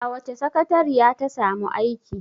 A wace sakateriya ta samu aiki?